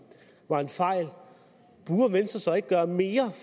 var en fejl burde venstre så ikke gøre mere